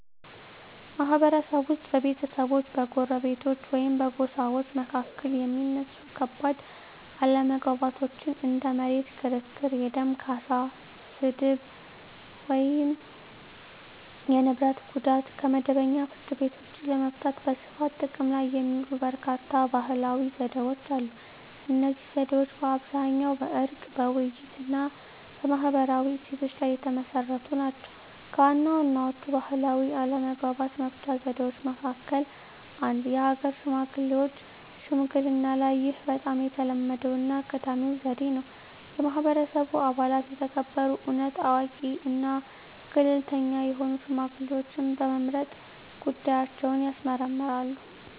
ማህበረሰብ ውስጥ በቤተሰቦች፣ በጎረቤቶች ወይም በጎሳዎች መካከል የሚነሱ ከባድ አለመግባባቶችን (እንደ መሬት ክርክር፣ የደም ካሳ፣ ስድብ፣ ወይም የንብረት ጉዳት) ከመደበኛው ፍርድ ቤት ውጭ ለመፍታት በስፋት ጥቅም ላይ የሚውሉ በርካታ ባህላዊ ዘዴዎች አሉ። እነዚህ ዘዴዎች በአብዛኛው በዕርቅ፣ በውይይት፣ እና በማህበራዊ እሴቶች ላይ የተመሰረቱ ናቸው። ከዋና ዋናዎቹ ባህላዊ አለመግባባት መፍቻ ዘዴዎች መካከል - 1. የሀገር ሽማግሌዎች ሽምግልናይህ በጣም የተለመደውና ቀዳሚው ዘዴ ነው። የማህበረሰቡ አባላት የተከበሩ፣ እውነት አዋቂ እና ገለልተኛ የሆኑ ሽማግሌዎችን በመምረጥ ጉዳያቸውን ያስመርምራሉ።